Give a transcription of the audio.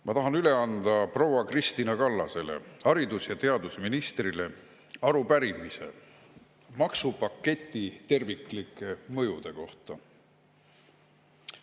Ma tahan üle anda proua Kristina Kallasele, haridus‑ ja teadusministrile, arupärimise maksupaketi terviklike mõjude kohta.